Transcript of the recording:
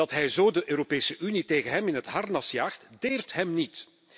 Dat hij zo de Europese Unie tegen zich in het harnas jaagt, deert hem niet.